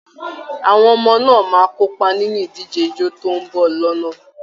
Àwọn ọmọ náà máa kópa nínú ìdíje ijó tó ń bọ̀ lọ́nà